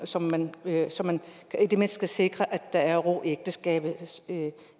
så man så man i det mindste sikrer at der er ro i ægteskabet